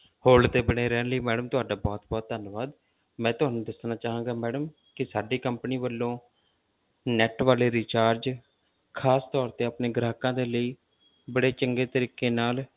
Hold ਤੇ ਬਣੇ ਰਹਿਣ ਲਈ madam ਤੁਹਾਡਾ ਬਹੁਤ ਬਹੁਤ ਧੰਨਵਾਦ ਮੈਂ ਤੁਹਾਨੂੰ ਦੱਸਣਾ ਚਾਹਾਂਗਾ madam ਕਿ ਸਾਡੀ company ਵੱਲੋਂ net ਵਾਲੇ recharge ਖ਼ਾਸ ਤੌਰ ਤੇ ਆਪਣੇ ਗ੍ਰਾਹਕਾਂ ਦੇ ਲਈ ਬੜੇ ਚੰਗੇ ਤਰੀਕੇ ਨਾਲ,